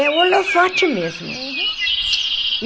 É holofote mesmo. Uhum.